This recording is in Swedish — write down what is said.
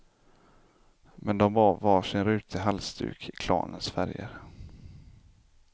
Men de bar varsin rutig halsduk i klanens färger.